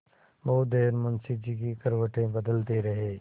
बहुत देर मुंशी जी करवटें बदलते रहे